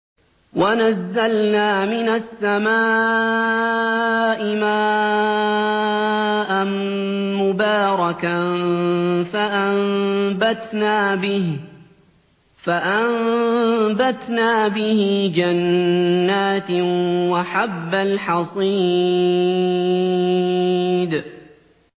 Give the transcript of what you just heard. وَنَزَّلْنَا مِنَ السَّمَاءِ مَاءً مُّبَارَكًا فَأَنبَتْنَا بِهِ جَنَّاتٍ وَحَبَّ الْحَصِيدِ